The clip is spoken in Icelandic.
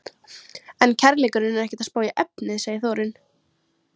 En kærleikurinn er ekkert að spá í efnið, segir Þórunn.